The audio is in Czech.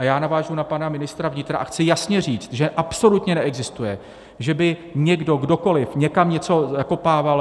A já navážu na pana ministra vnitra a chci jasně říct, že absolutně neexistuje, že by někdo, kdokoliv, někam něco zakopával.